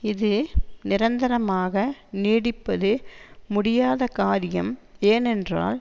இது நிரந்தரமாக நீடிப்பது முடியாதகாரியம் ஏனென்றால்